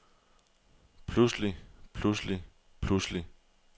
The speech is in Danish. pludselig pludselig pludselig